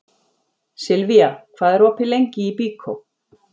Silvía, hvað er opið lengi í Byko?